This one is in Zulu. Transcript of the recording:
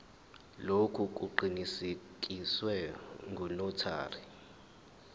lokhu kuqinisekiswe ngunotary